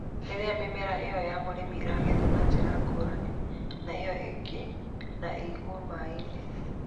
Rĩrĩa mĩmera ĩyo ya mũrimũ ĩng'ethwo na njĩra ngũrani na ĩyo ĩngĩ na ĩigwo maĩ-inĩ,